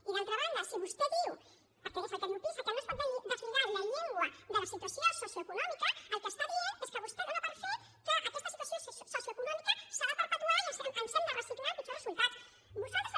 i d’altra banda si vostè diu perquè és el que diu pisa que no es pot deslligar la llengua de la situació socioeconòmica el que diu és que vostè dona per fet que aquesta situació socioeconòmica s’ha de perpetuar i ens hem de resignar amb pitjors resultats